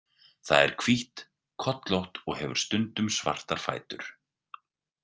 Það er hvítt, kollótt og hefur stundum svartar fætur.